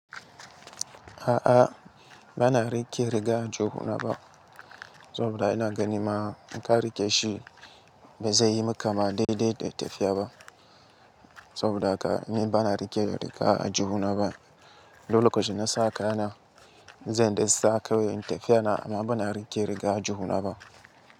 A'a, ba na riƙe riga a juhuna ba. Saboda ina gani ma in ka riƙe shi bai zai yi maka ma daidai da tafiya ba. Saboda haka ni ba na riƙe riga a juhuna ba. Duk lokacin da na saka kayana, zan dai sa kawai in tafiya na amma ba na riƙe riga ajjuhuna ba.